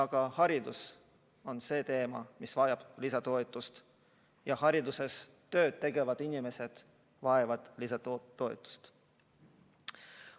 Ka haridus on see valdkond, mis vajab lisatoetust ja hariduses tööd tegevad inimesed vajavad lisatoetust.